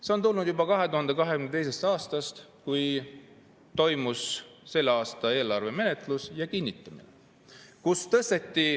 See on tulnud juba 2022. aastast, kui toimus selle aasta eelarve menetlus ja kinnitamine.